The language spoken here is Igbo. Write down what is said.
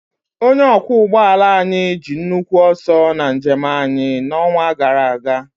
Onye ọkwọ ụgbọ ala anyị ji nnukwu ọsọ na njem anyị n'ọnwa gara aga.